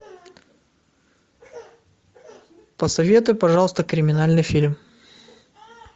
посоветуй пожалуйста криминальный фильм